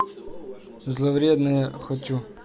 зловредное хочу